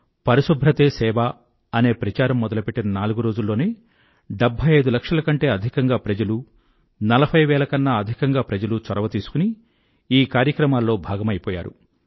పరిశుభ్రతే సేవ అనే ప్రచారం మొదలుపెట్టిన నాలుగురోజుల్లోనే డెభ్భై ఐదు లక్షల కంటే అధికంగా ప్రజలు నలభై వేల కన్నా అధికంగా ప్రజలు చొరవ తీసుకుని ఈ కార్యక్రమాల్లో భాగమైపోయారు